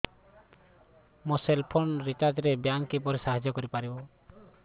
ମୋ cell phone recharge ରେ bank କିପରି ସାହାଯ୍ୟ କରିପାରିବ